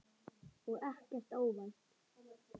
Og ekkert óvænt.